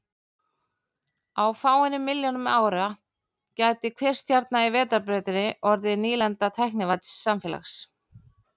Á fáeinum milljónum árum gæti hver stjarna í Vetrarbrautinni orðið nýlenda tæknivædds samfélags.